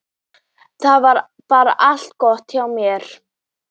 Það var bara allt gott hjá þér.